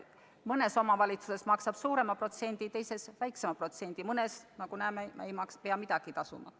Mõnes omavalitsuses maksab ta suurema protsendi, teises väiksema protsendi, mõnes ei pea midagi tasuma.